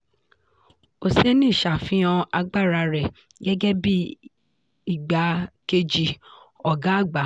oseni ṣáfihàn agbára rẹ̀ gẹ́gẹ́ bíi igbá kejì ọgá àgbà.